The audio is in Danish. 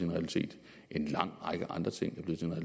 realitet og en lang række andre ting er blevet